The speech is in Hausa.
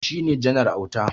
Shi ne Janar Auta.